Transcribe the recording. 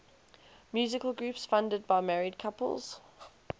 musical groups founded by married couples